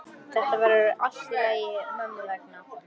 Þetta verður allt í lagi mömmu vegna.